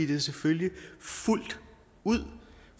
det selvfølgelig fuldt ud